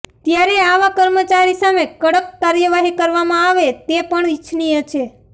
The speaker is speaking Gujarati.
ત્યારે આવા કર્મચારી સામે કડક કાર્યવાહી કરવામાં આવે તે પણ ઇચ્છનીય છે